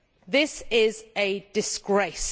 That is a disgrace.